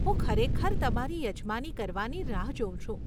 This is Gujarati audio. હું ખરેખર તમારી યજમાની કરવાની રાહ જોઉં છું.